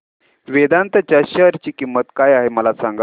वेदांत च्या शेअर ची किंमत काय आहे सांगा